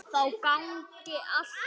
Þá gangi allt betur.